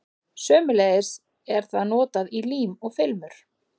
Sömuleiðis er það notað í lím og filmur.